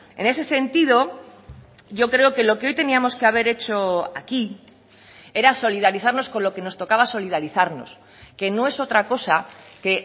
en ese sentido yo creo que lo que hoy teníamos que haber hecho aquí era solidarizarnos con lo que nos tocaba solidarizarnos que no es otra cosa que